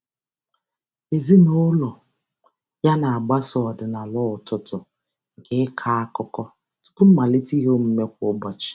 Ezinaụlọ ya na-agbaso ọdịnala ụtụtụ nke ịkọ akụkọ tụpụ mmalite iheomume kwa ụbọchị.